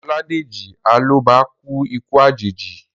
Ọládèjì Alọ́ba kú ikú àjèjì